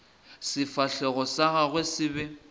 sefahlego sa gagwe se be